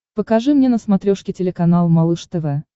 покажи мне на смотрешке телеканал малыш тв